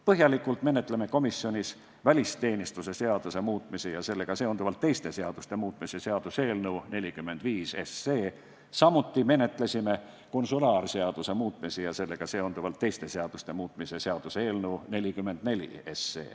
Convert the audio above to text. Põhjalikult menetlesime komisjonis välisteenistuse seaduse muutmise ja sellega seonduvalt teiste seaduste muutmise seaduse eelnõu 45, samuti menetlesime konsulaarseaduse muutmise ja sellega seonduvalt teiste seaduste muutmise seaduse eelnõu 44.